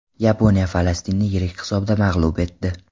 Yaponiya Falastinni yirik hisobda mag‘lub etdi.